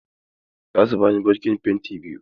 Za su bani bokitin penti biyu.